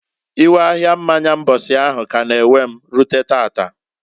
Iwe ahia mmanya mbosi ahụ k'a na- ewe rute taata.